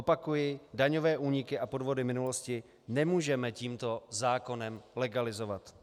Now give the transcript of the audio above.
Opakuji: daňové úniky a podvody minulosti nemůžeme tímto zákonem legalizovat.